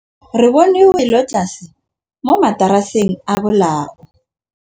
Re bone wêlôtlasê mo mataraseng a bolaô.